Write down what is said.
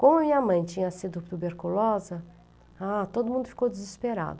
Como minha mãe tinha sido tuberculosa, ah, todo mundo ficou desesperado.